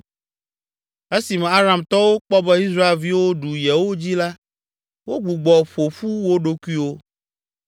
Esime Aramtɔwo kpɔ be Israelviwo ɖu yewo dzi la, wogbugbɔ ƒo ƒu wo ɖokuiwo.